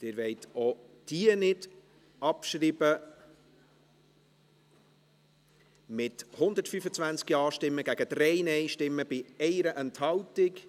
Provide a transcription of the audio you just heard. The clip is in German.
Sie wollen auch die in ein Postulat gewandelte Motion nicht abschreiben, mit 125 Ja- gegen 3 Nein-Stimmen bei 1 Enthaltung.